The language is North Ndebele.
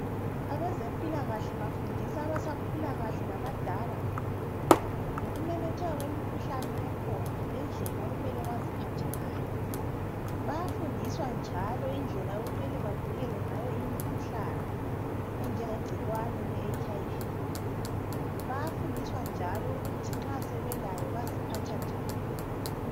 Abezempilakahle bafundisa abasakhula kahle labadala ngokumemetheka kwemikhuhlane ekhona lendlela okumele baziphathe ngayo. Bayafundiswa njalo indlela okumele bavikele ngayo imikhuhlane enjengegcikwane leHIV. Bayafundiswa njalo ukuthi nxa sebelayo baziphatha njani.